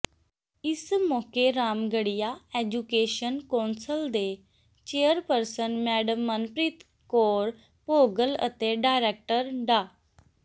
ਇਸ ਮੌਕੇ Ramgarhia education council ਦੇ ਚੇਅਰਪਰਸਨ ਮੈਡਮ ਮਨਪ੍ਰੀਤ ਕੌਰ ਭੋਗਲ ਅਤੇ ਡਾਇਰੈਕਟਰ ਡਾ